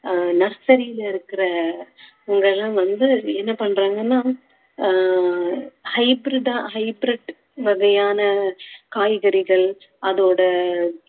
ஆஹ் nursery ல இருக்கிற இவங்க எல்லாம் வந்து என்ன பண்றாங்கன்னா ஆஹ் hybrid ஆ hybrid வகையான காய்கறிகள் அதோட